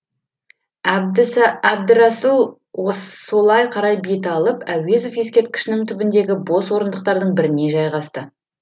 әбдірасыл солай қарай бет алып әуезов ескерткішінің түбіндегі бос орындықтардың біріне жайғасты